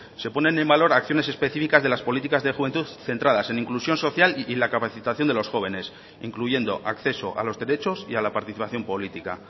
se ponen en valor acciones específicas de las políticas de juventud centradas en inclusión social y la capacitación de los jóvenes incluyendo acceso a los derechos y a la participación política